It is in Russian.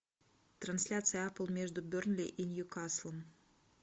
трансляция апэл между бернли и нью каслом